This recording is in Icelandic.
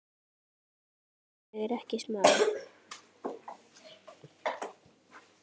En ég er ekki smali.